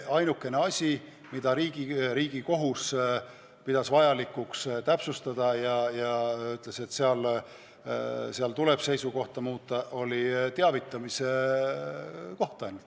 Ainukene asi, mida Riigikohus pidas vajalikuks täpsustada ja ütles, et seal tuleb seisukohta muuta, oli teavitamine.